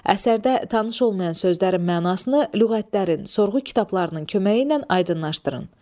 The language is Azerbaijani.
Əsərdə tanış olmayan sözlərin mənasını lüğətlərin, sorğu kitablarının köməyi ilə aydınlaşdırın.